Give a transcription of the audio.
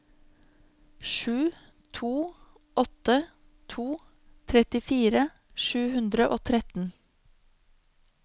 sju to åtte to trettifire sju hundre og tretten